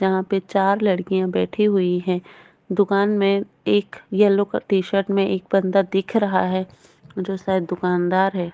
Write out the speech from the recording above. जहा पे चार लड़किया बैठी हुई है दुकान मे एक येलो क टी-शर्ट मे एक बंदा दिख रहा है जो शायद दुकानदार हैं।